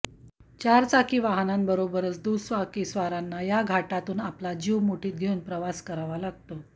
चारचाकी वाहनांबरोबरच दुचाकीस्वारांना या घाटातून आपला जीव मुठीत घेऊन प्रवास करावा लागतो